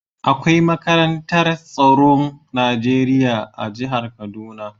Akwai makarantar tsaron Najeriya a jihar kaduna.